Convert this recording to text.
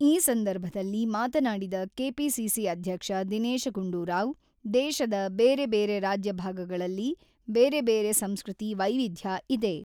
ಈ ಸಂದರ್ಭದಲ್ಲಿ ಮಾತನಾಡಿದ ಕೆಪಿಸಿಸಿ ಅಧ್ಯಕ್ಷ ದಿನೇಶ ಗುಂಡೂರಾವ್, ದೇಶದ ಬೇರೆ, ಬೇರೆ ರಾಜ್ಯ ಭಾಗಗಳಲ್ಲಿ ಬೇರೆ, ಬೇರೆ ಸಂಸ್ಕೃತಿ, ವೈವಿಧ್ಯ ಇದೆ.